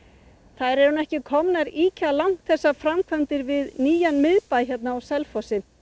þær eru ekki komnar ýkja langt þessar framkvæmdir við nýjan miðbæ á Selfossi